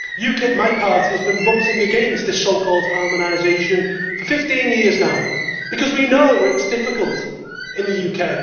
UKIP, my party, has been voting against this so called harmonisation for 15 years now, because we know it is difficult in the UK.